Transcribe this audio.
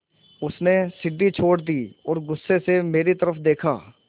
उसने सीढ़ी छोड़ दी और गुस्से से मेरी तरफ़ देखा